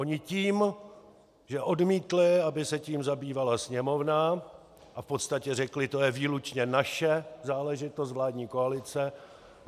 Oni tím, že odmítli, aby se tím zabývala Sněmovna a v podstatě řekli, to je výlučně naše záležitost vládní koalic.